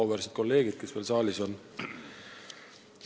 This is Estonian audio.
Auväärsed kolleegid, kes veel saalis on!